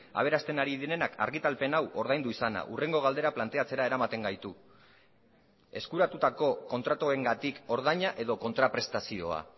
aberasten ari direnak argitalpen hau ordaindu izana hurrengo galdera planteatzera eramaten gaitu eskuratutako kontratuengatik ordaina edo kontraprestazioa